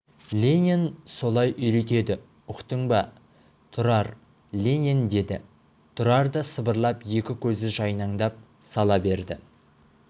ленин солай үйретеді ұқтың ба тұрар ленин деді тұрар да сыбырлап екі көзі жайнаңдап сала берді